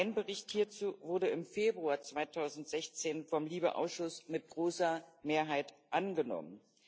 Mein Bericht hierzu wurde im Februar 2016 vom LIBE Ausschuss mit großer Mehrheit angenommen.